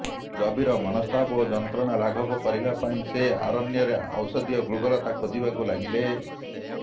ଗଭୀର ମନସ୍ତାପ ଓ ଯନ୍ତ୍ରଣା ଲାଘବ କରିବା ପାଇଁ ସେ ଅରଣ୍ୟରେ ଔଷଧୀୟ ଗୁଳ୍ମଲତା ଖୋଜିବାକୁ ଲାଗିଲେ